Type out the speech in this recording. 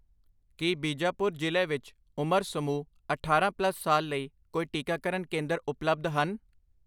ਕੀ ਬੀਜਾਪੁਰ ਜ਼ਿਲ੍ਹੇ ਵਿੱਚ ਉਮਰ ਸਮੂਹ ਅਠਾਰਾਂ ਪਲੱਸ ਸਾਲ ਲਈ ਕੋਈ ਟੀਕਾਕਰਨ ਕੇਂਦਰ ਉਪਲਬਧ ਹਨ?